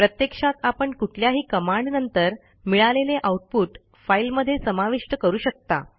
प्रत्यक्षात आपण कुठल्याही कमांड नंतर मिळालेले आऊटपुट फाईलमध्ये समाविष्ट करू शकता